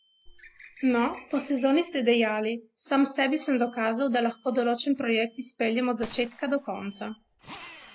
No, po sezoni ste dejali: "Sam sebi sem dokazal, da lahko določen projekt izpeljem od začetka do konca.